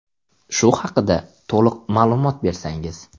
Shu haqida to‘liq ma’lumot bersangiz.